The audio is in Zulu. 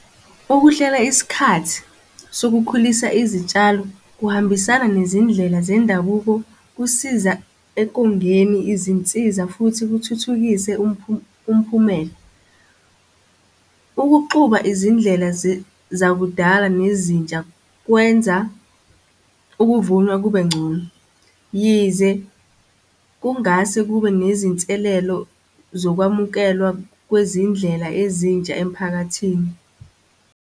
Ukuhlela isikhathi sokukhulisa izitshalo kuhambisana nezindlela zendabuko, kusiza ekongeni izinsiza, futhi kuthuthukise umphumela. Ukuxuba izindlela zakudala nezintsha, kwenza ukuvunwa kube ngcono. Yize kungase kube nezinselelo zokwamukelwa kwezindlela ezintsha emphakathini.